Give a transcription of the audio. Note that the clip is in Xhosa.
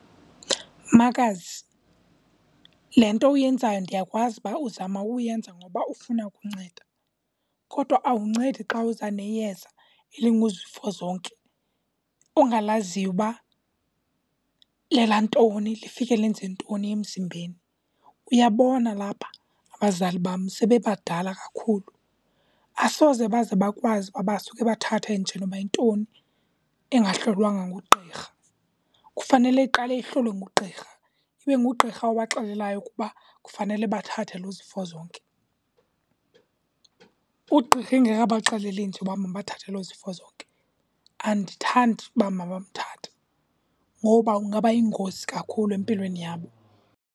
Makazi, le nto uyenzayo ndiyakwazi uba uzama uyenza ngoba ufuna ukunceda. Kodwa awundincedi xa uza neyeza elinguzifozonke ongalaziyo uba lelantoni, lifike lenze ntoni emzimbeni. Uyabona lapha abazali bam sebebadala kakhulu, asoze baze bakwazi uba basuke bathathe nje noba yintoni engahlolwanga ngugqirha. Kufanele iqale ihlolwe ngugqirha, ibe ngugqirha obaxelelayo ukuba kufanele bathathe lo zifozonke. Ugqirha engekabaxeleli nje uba mabathathe lo zifozonke, andithandi uba mabamthathe ngoba ungaba yingozi kakhulu empilweni yabo.